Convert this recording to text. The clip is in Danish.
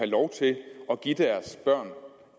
lov til at give deres børn